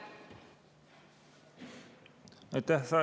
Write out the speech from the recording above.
Aitäh!